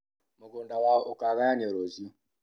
Mũgũnda wao ũkagayanio rũciũ